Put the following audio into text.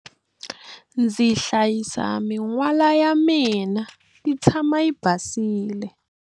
Ndzi hlayisa min'wala ya mina yi tshama yi basile.